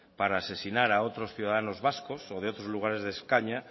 para asesinar a otros ciudadanos vascos o de otros lugares de españa